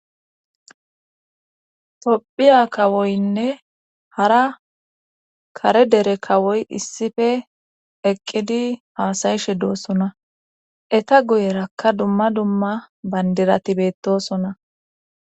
Tophiya kawoynne hara kare dere kawoy issife eqqidi haasayishe doosona eta guyerakka dumma dumma bandirati beettosona.